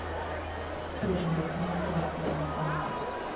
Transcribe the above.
Eftir yfirheyrsluna gekk ég inn ganginn.